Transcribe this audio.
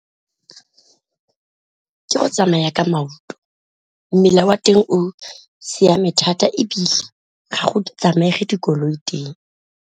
Ke go tsamaya ka maoto, mmila wa teng o siame thata ebile ga go tsamaege dikoloi teng.